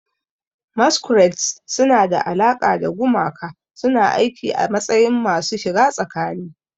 Masquerades suna da alaƙa da gumaka, suna aiki a matsayin masu shiga tsakani.